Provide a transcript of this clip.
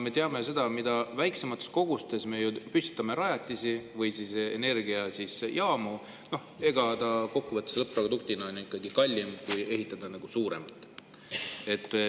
Me teame, et mida väiksemaid rajatisi või energiajaamu me püstitame, seda kallim on kokkuvõttes ikkagi lõpp-produkt, kui ehitada suurem.